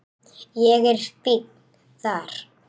Ég er fínn þar.